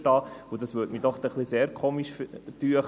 Das erschiene mir dann doch sehr merkwürdig.